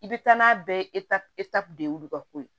I bɛ taa n'a bɛɛ de y'olu ka ko ye